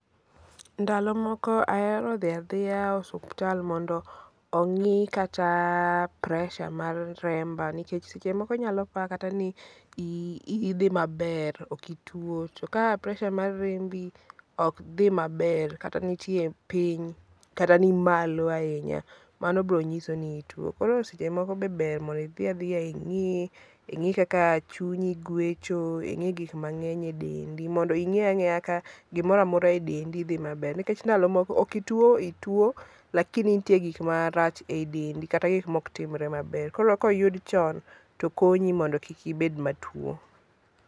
Ndalo moko ahero dhia dhia osuptal mondo ong'i kata pressure mar remba nikech seche moko inyalo pa kata ni idhi maber okituwo. To ka pressure mar rembi ok dhi maber kata nitie piny kata ni malo ahinya, mano bro nyiso ni ituwo. Koro seche moko be ber mondo idhi adhia ing'ii, ing'i kaka chunyi gwecho, ing'i gik mang'eny e dendi mondo ing'eya ang'eya ka go moramora e dendi dhi maber nikech ndalo moko ok ituwo ituwo lakini nitie nitie gik marach ei dendi kata gik mok timre maber koro koyud chon to konyo mondi kik ibed matuwo.